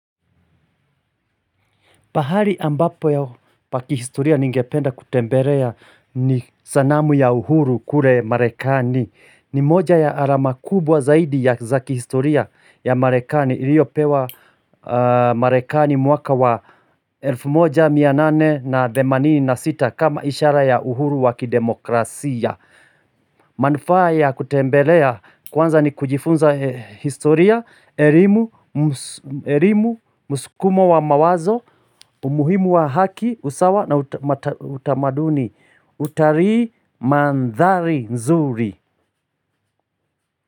Pahali ambapo pa kihistoria ningependa kutembelea ni sanamu ya uhuru kule marekani. Ni moja ya alama kubwa zaidi za kihistoria ya marekani. Iliyopewa marekani mwaka wa 1886 kama ishara ya uhuru wa kidemokrasia. Manufaa ya kutembelea, kwanza ni kujifunza historia, elimu, mskumo wa mawazo, umuhimu wa haki, usawa na utamaduni utalii mandhari nzuri.